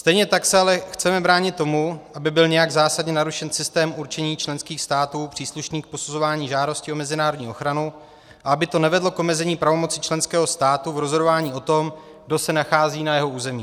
Stejně tak se ale chceme bránit tomu, aby byl nějak zásadně narušen systém určení členských států příslušných k posuzování žádostí o mezinárodní ochranu a aby to nevedlo k omezení pravomoci členského státu v rozhodování o tom, kdo se nachází na jeho území.